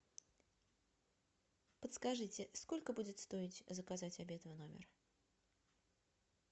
подскажите сколько будет стоить заказать обед в номер